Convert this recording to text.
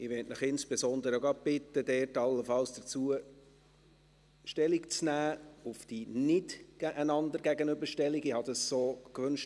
Ich möchte Sie insbesondere bitten, allenfalls zur Frage der Nicht-einander-Gegenüberstellung Stellung zu nehmen.